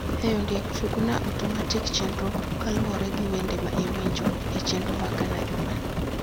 hey Ondiek tug na otomatik chenro kaluwore gi wende ma iwinjo e chenro mar Ghana juma ni.